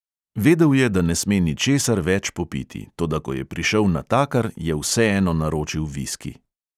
Vedel je, da ne sme ničesar več popiti, toda ko je prišel natakar, je vseeno naročil viski.